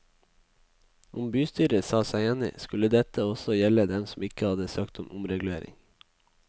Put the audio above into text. Om bystyret sa seg enig, skulle dette også gjelde dem som ikke hadde søkt om omregulering.